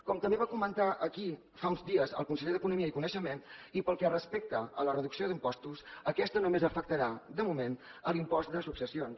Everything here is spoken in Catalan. com també va comentar aquí fa uns dies el conseller d’economia i coneixement i pel que respecta a la reducció d’impostos aquesta només afectarà de moment l’impost de successions